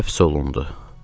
Həbs olundu.